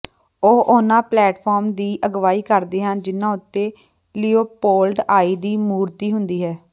ਉਹ ਉਹਨਾਂ ਪਲੇਟਫਾਰਮ ਦੀ ਅਗਵਾਈ ਕਰਦੇ ਹਨ ਜਿਨ੍ਹਾਂ ਉੱਤੇ ਲੀਓਪੋਲਡ ਆਈ ਦੀ ਮੂਰਤੀ ਹੁੰਦੀ ਹੈ